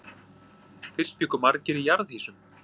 Fyrst bjuggu margir í jarðhýsum.